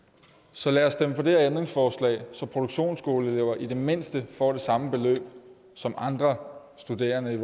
så lad os stemme for det her ændringsforslag så produktionsskoleelever i det mindste får det samme beløb som andre studerende